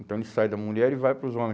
Então ele sai da mulher e vai para os homem.